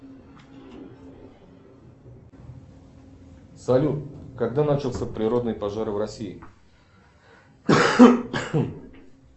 салют когда начался природный пожар в россии